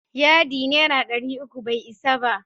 Yadi naira dari uku bai isa ba.